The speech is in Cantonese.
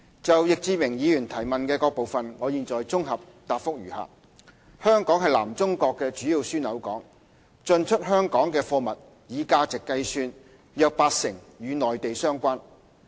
就易志明議員提問的各部分，我現綜合答覆如下：香港是南中國的主要樞紐港，進出香港的貨物以價值計算約八成與內地相關。